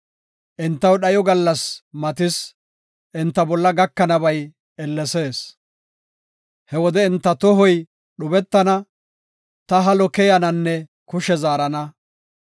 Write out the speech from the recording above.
Entaw dhayo gallasi matis; enta bolla gakanabay ellesees. He wode enta tohoy dhubetana; ta halo keyananne kushe zaarana.”